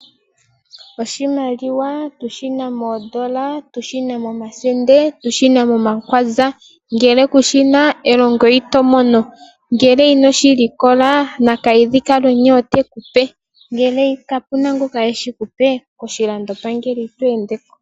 Oshimaliwa tushina moondola tushina momakwanza nosho woomoosende ngele kushina elongo itoli mono ngele ino shilikola nakalwidhi kAalwenya ote kuoe ngele kapena ngoka teshi kupe koshilando pangele ito endeko.